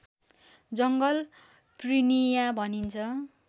जङ्गल प्रिनिया भनिन्छ